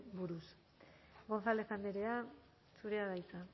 buruz